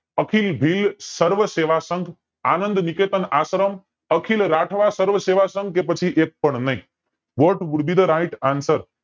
અખિલ ભીલસર્વ સેવા સંઘ આનંદ નિકેતમ આશ્રમ અખિલ રાઠવા સર્વ સેવા સંઘ કે પછી એક પણ નય what would be the right answer